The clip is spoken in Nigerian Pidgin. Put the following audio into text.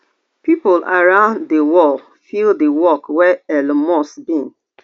pipo around di world feel di work wey elon musk bin